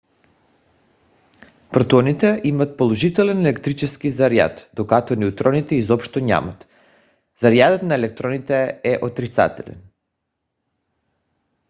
протоните имат положителен електрически заряд докато неутроните изобщо нямат. зарядът на електроните е отрицателен